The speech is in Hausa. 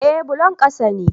Eh bullon ƙasa ne